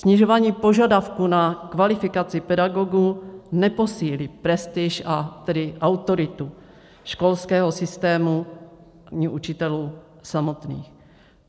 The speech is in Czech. Snižování požadavků na kvalifikaci pedagogů neposílí prestiž, a tedy autoritu školského systému ani učitelů samotných.